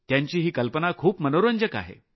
त्यांची ही कल्पना खूप मनोरंजक आहे